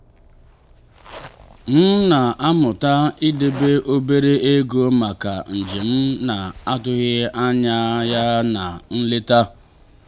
m na-amụta idebe obere ego maka njem na-atụghị anya ya na nleta.